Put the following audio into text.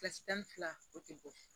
Kilasi tan ni fila o tɛ bɔ